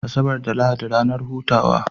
Asabar da lahadi ranar hutawa